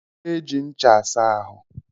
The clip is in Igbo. E ji ncha asa ahụ